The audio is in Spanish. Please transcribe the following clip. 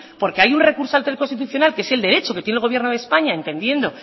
porque hay un recurso ante el constitucional que es el derecho que tiene el gobierno de españa entendiendo